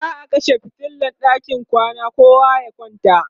za'a kashe fitilan ɗakin kwana kowa ya kwanta